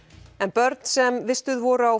börn sem vistuð voru á